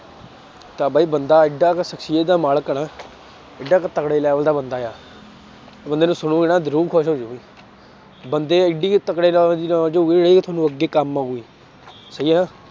ਤਾਂ ਬਈ ਬੰਦਾ ਇੱਡਾ ਕੁ ਸਕਸ਼ੀਅਤ ਦਾ ਮਾਲਕ ਆ ਨਾ ਏਡਾ ਕੁ ਤਕੜੇ level ਦਾ ਬੰਦਾ ਆ, ਉਹ ਬੰਦੇ ਨੂੰ ਸੁਣੋਂਗੇ ਨਾ ਰੂਹ ਖ਼ੁਸ਼ ਹੋ ਜਾਊਗੀ ਬੰਦੇ ਇੱਡੀ ਕੁ ਤਕੜੇ level ਦੀ knowledge ਹੋਊਗੀ ਜਿਹੜੀ ਤੁਹਾਨੂੰ ਅੱਗੇ ਕੰਮ ਆਊਗੀ ਸਹੀ ਹੈ ਨਾ।